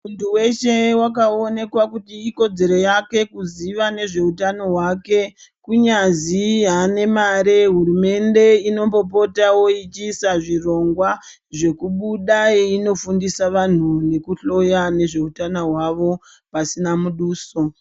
Muntu weshe akaonekwa kuti ikodzero yake kuziva nezvehutano hwake kunyazi hurumende inombopota ichiisa hurongwa kubuda veifundisa vantu nekuhloya nezvehutano hwavo pasina muduso.